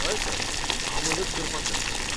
हय सर, हांव मजत करपाक शकतां तुका.